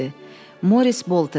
Moris Bolter.